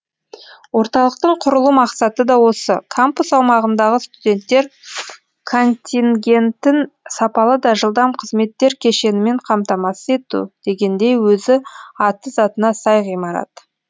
орталықтың құрылу мақсаты да осы кампус аумағындағы студенттер контингентін сапалы да жылдам қызметтер кешенімен қамтамасыз ету дегендей өзі аты затына сай ғимарат